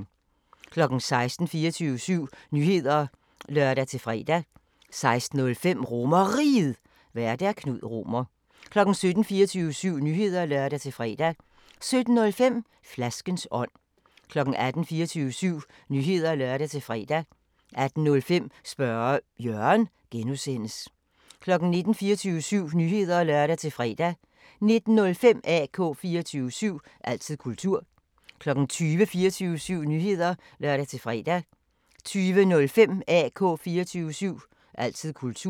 16:00: 24syv Nyheder (lør-fre) 16:05: RomerRiget, Vært: Knud Romer 17:00: 24syv Nyheder (lør-fre) 17:05: Flaskens ånd 18:00: 24syv Nyheder (lør-fre) 18:05: Spørge Jørgen (G) 19:00: 24syv Nyheder (lør-fre) 19:05: AK 24syv – altid kultur 20:00: 24syv Nyheder (lør-fre) 20:05: AK 24syv – altid kultur